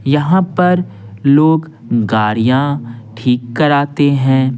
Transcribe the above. यहां पर लोग गाड़ियां ठीक कराते हैं।